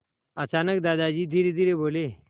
अचानक दादाजी धीरेधीरे बोले